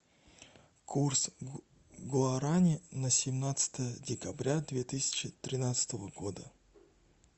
курс гуарани на семнадцатое декабря две тысячи тринадцатого года